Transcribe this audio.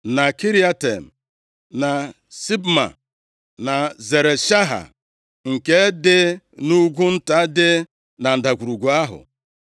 na Kiriatem, na Sibma, na Zeret Shaha, nke dị nʼugwu nta dị na ndagwurugwu ahụ;